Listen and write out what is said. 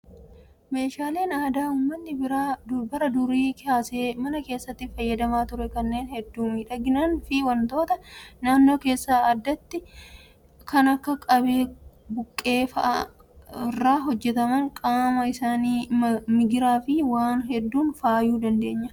Meeshaaleen aadaa uummanni bara durii kaasee mana keessatti fayyadamaa ture kanneen hedduu miidhaganiin fi wantoota naannoo keessaa addatti kan akka qabee buqqee fa'aa irraa hojjataman qaama isaanii migiraa fi waan hedduun faayuu dandeenya.